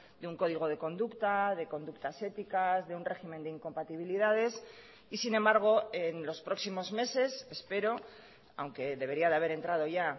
de un código de conducta de conductas éticas de un régimen de incompatibilidades y sin embargo en los próximos meses espero aunque debería de haber entrado ya